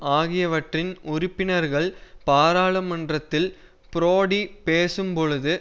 ஆகியவற்றின் உறுப்பினர்கள் பாராளுமன்றத்தில் புரோடி பேசும் பொழுது